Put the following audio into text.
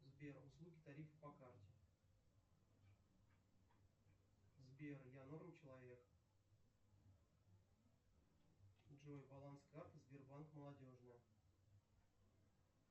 сбер услуги тарифа по карте сбер я норм человек джой баланс карты сбербанк молодежная